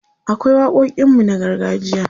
akwai waƙoƙin mu na gargajiya